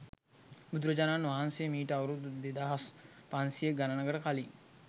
බුදුරජාණන් වහන්සේ මීට අවුරුදු දෙදහස් පන්සිය ගණනකට කලින්